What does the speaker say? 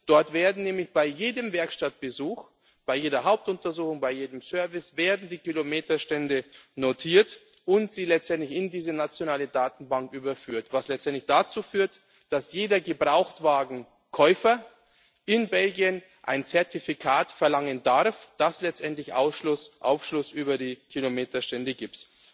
Dort werden nämlich bei jedem Werkstattbesuch, bei jeder Hauptuntersuchung, bei jedem Service die Kilometerstände notiert und in diese nationale Datenbank überführt, was letztendlich dazu führt, dass jeder Gebrauchtwagenkäufer in Belgien ein Zertifikat verlangen darf, das letztendlich Aufschluss über die Kilometerstände